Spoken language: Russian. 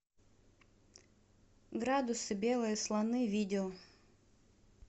градусы белые слоны видео